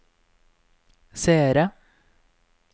seere